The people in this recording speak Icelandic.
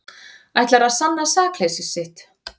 Ætlar að sanna sakleysi sitt